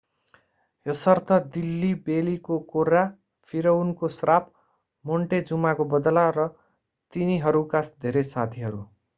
यसर्थ दिल्ली बेलीको कोर्रा फिरउनको श्राप मोन्टेजुमाको बदला र तिनीहरूका धेरै साथीहरू